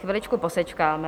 Chviličku posečkáme.